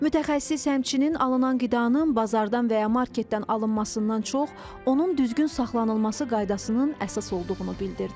Mütəxəssis həmçinin alınan qidanın bazardan və ya marketdən alınmasından çox onun düzgün saxlanılması qaydasının əsas olduğunu bildirdi.